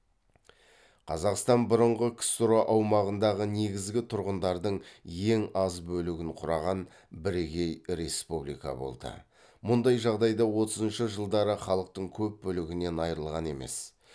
қазақстан бұрынғы ксро аумағындағы негізгі тұрғындардың ең аз бөлігін құраған бірегей республика болды мұндай жағдайда отызыншы жылдары халықтың көп бөлігінен айырылған емес